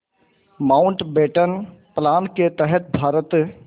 Mountbatten plan के तहत भारत